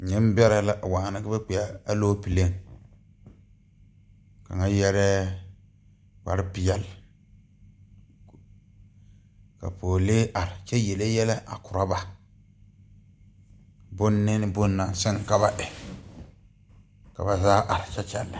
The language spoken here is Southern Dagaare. Neŋbɛrɛ la waana ka ba kpɛɛa aloopɛlee kaŋa yɛrɛɛ kparepeɛle ka pɔɔlee are kyɛ yele yɛlɛ a korɔ ba bone bone naŋ siŋ ka ba e ka ba zaa are kyɛ kyɛlɛ.